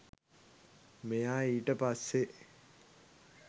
මෙයා ඊට පස්සේ